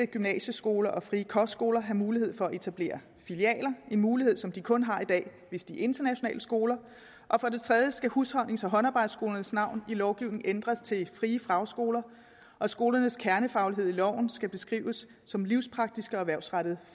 gymnasieskoler og frie kostskoler have mulighed for at etablere filialer en mulighed som de kun har i dag hvis de er internationale skoler og for det tredje skal husholdnings og håndarbejdsskolernes navn i lovgivningen ændres til frie fagskoler og skolernes kernefaglighed i loven skal beskrives som livspraktiske og erhvervsrettede